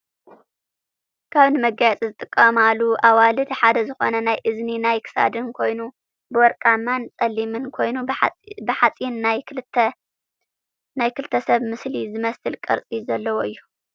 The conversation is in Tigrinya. ካብ ንመጋየፂ ዝጥቀማሉ ኣዋልድ ሓደ ዝኮነ ናይ እዝኒ ናይ ክሳድን ኮይኑ ብወርቃማን ፀሊምን ኮይኑ ብሓፂን ናይ ክልተ ሰብ ምስሊ ዝመስል ቅርፂ ዘለዎ እዩ ።